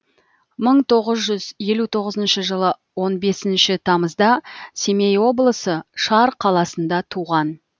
мың тоғыз жүз елу тоғызыншы жылы он бесінші тамызда семей облысы шар қаласында туған